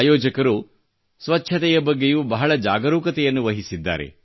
ಆಯೋಜಕರು ಸ್ವಚ್ಛತೆಯ ಬಗ್ಗೆಯೂ ಬಹಳ ಜಾಗರೂಕತೆಯನ್ನು ವಹಿಸಿದ್ದಾರೆ